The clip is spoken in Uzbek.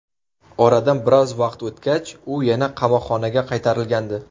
Oradan biroz vaqt o‘tgach, u yana qamoqxonaga qaytarilgandi.